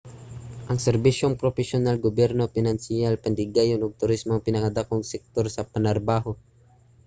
ang serbisyong propesyonal gobyerno pinansiyal patigayon ug turismo ang pinakadakong sektor sa panarbaho